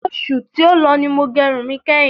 Oṣù tí ó lọ ni mo gẹ irun mi kẹ́hin.